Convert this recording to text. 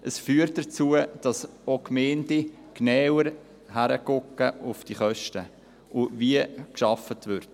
Dies führt dazu, dass Gemeinden näher auf die Kosten achten und darauf, wie gearbeitet wird.